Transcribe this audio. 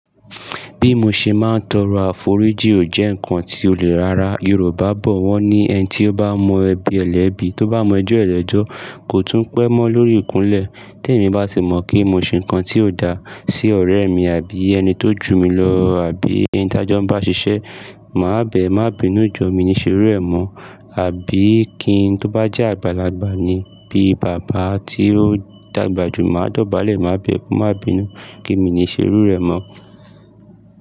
Bí mo ṣe máa ń tọrọ àforíjì ò jẹ́ nǹkan tí olè ara Yorùbá bọ̀ wọ́n ni ẹni tí ó bá mọ ẹbí ẹlẹ́bí, tó bá mọ ẹjọ́ ẹlẹ́jọ́ kò tún pẹ́ mọ́ lórí ìkúnlẹ̀. Tẹ́ mi bá sì mọ̀ kí mo ṣe nǹkan tí ó dá sí ọ̀rẹ́ mi àbí ẹni tó jù mí lọ àbí ẹni tí ajá bá ń ṣiṣẹ́, màá bẹ̀ ẹ́, màá bínú jọ mi níṣe rírẹ́ mọ́, àbí kí n tó bá jẹ́ àgbàlagbà ni bí bàbá tí ó dàgbà jù mí, màá dọ̀bálẹ̀, màá bẹ̀ ẹ́, màá bínú pe mi níṣe iru e mo.